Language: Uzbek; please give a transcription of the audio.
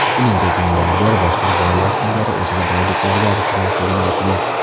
Shuningdek, milliarder boshqa boylar singari o‘zini boyliklariga arzimasligini aytgan.